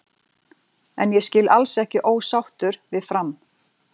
En ég skil alls ekki ósáttur við Fram.